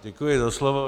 Děkuji za slovo.